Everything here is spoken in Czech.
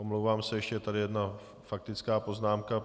Omlouvám se, ještě je tady jedna faktická poznámka.